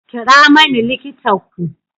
Kira mani likita ku.